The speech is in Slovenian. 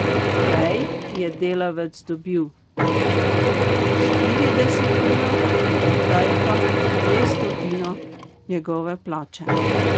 Prej je delavec dobil štiridesetino, zdaj pa dvestotino njegove plače.